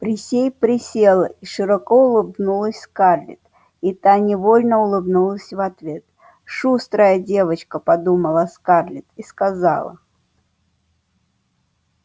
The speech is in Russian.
присей присела и широко улыбнулась скарлетт и та невольно улыбнулась в ответ шустрая девчонка подумала скарлетт и сказала